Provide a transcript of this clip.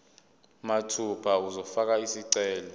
mathupha uzofaka isicelo